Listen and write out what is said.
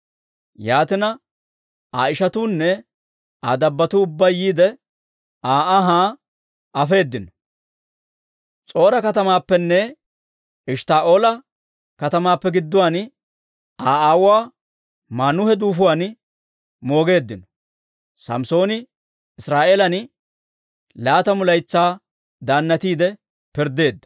Yaatina, Aa ishatuunne Aa dabbotuu ubbay yiide, Aa anhaa afeedino; S'or"a katamaappenne Eshttaa'oola katamaappe gidduwaan, Aa aawuwaa Maanuhe duufuwaan moogeeddino. Samssooni Israa'eelan laatamu laytsaa daannatiide pirddeedda.